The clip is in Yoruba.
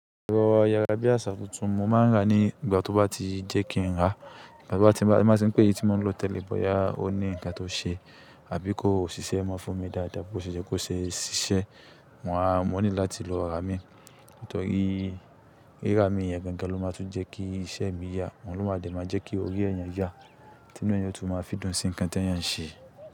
Erọ̀ ayára bí àsà tuntun mo máa ń rà á nígbà tó bá ti jẹ́ kí n rà á. Igbà tó bá ti ń bá, ti n ba ti ń pè eyi tí mo ń lo tẹle boya o. Ó ní ǹkan tó ṣe, àbí kò ṣiṣẹ́ mọ́ fún mi dáadáa, bó ṣe yẹ́ kó ṣe ṣiṣẹ́, mo máa ní láti lo ra mii. Nítorí rira mi yẹ̀n gàn gan-an ló máa tún jẹ́ kí iṣẹ́ mi yá, òun ló máa de maa jẹ́ kí orí ẹeyán ya, tí inú ẹeyan óò tún máa fi dùn sí ǹkan tí ẹeyan ń ṣe.